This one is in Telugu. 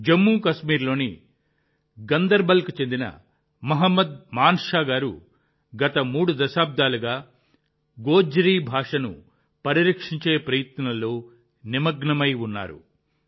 జమ్మూ కాశ్మీర్లోని గందర్బల్కు చెందిన మహ్మద్ మాన్షా గారు గత మూడు దశాబ్దాలుగా గోజ్రీ భాషను పరిరక్షించే ప్రయత్నాల్లో నిమగ్నమై ఉన్నారు